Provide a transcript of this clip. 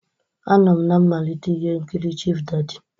Anọ m na mmalite ihe nkiri Chief Daddy.